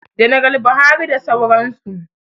Janaral Buhari da sauran su